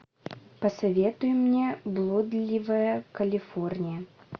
посоветуй мне блудливая калифорния